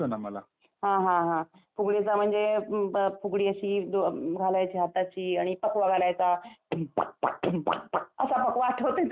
हां हां हां फुगडीचं म्हणजे फुगडी अशी घालायच्या हाताची आणि फकवा घालायचा Music असा फकवा आठवतोय तुला?